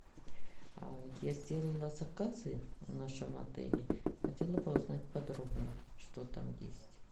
я сделала заказы в нашем отеле хотела бы узнать подробно что там есть